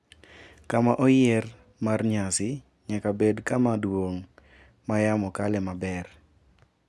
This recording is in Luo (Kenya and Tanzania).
Kama oyier mar nyasi nyaka bed kama duong` ma yamo kale maber.